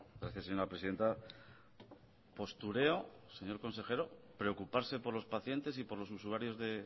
gracias señora presidenta postureo señor consejero preocuparse por los pacientes y por los usuarios de